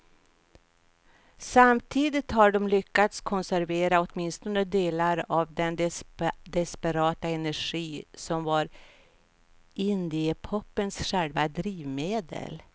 Samtidigt har de lyckats konservera åtminstone delar av den desperata energi som var indiepopens själva drivmedel.